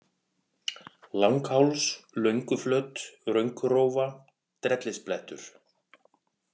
Langháls, Lönguflöt, Rönkurófa, Drellisblettur